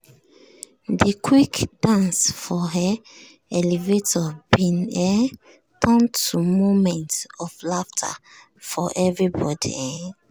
de quick dance for um elevator bin um turn to moment of laughter for everybody. um